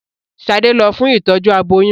Ṣade lọ fún Ìtọ́jú aboyún.